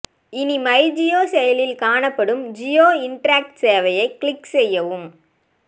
இனி மைஜியோ செயலியில் காணப்படும் ஜியோ இன்டெராக்ட் சேவையை கிளிக் செய்யவும்